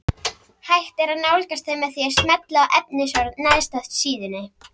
Hægt er að nálgast þau með því að smella á efnisorð neðst á síðunni.